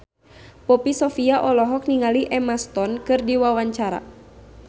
Poppy Sovia olohok ningali Emma Stone keur diwawancara